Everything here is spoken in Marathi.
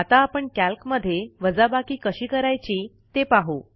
आत आपण कॅल्कमध्ये वजाबाकी कशी करायची ते पाहू